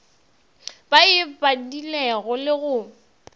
ba e badilego le go